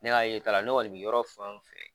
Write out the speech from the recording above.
Ne ka ye ta la ne kɔni bɛ yɔrɔ fɛn o fɛn